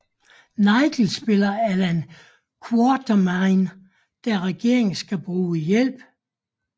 Nigel spiller Allan Quatermain da regeringen skal bruge hjælp